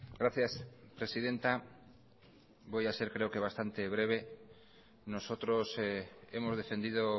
gracias presidenta voy a ser creo que bastante breve nosotros hemos defendido